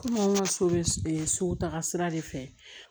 Komi anw ka so bɛ sugu ta sira de fɛ